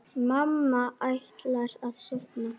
Mamma ætlar að sofna.